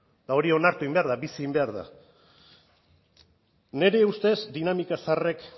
eta hori onartu egin behar da bizi egin behar da nire ustez dinamika zaharrek